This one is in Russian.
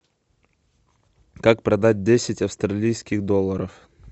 как продать десять австралийских долларов